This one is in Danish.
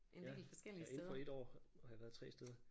Ja ja indenfor 1 år har jeg været 3 steder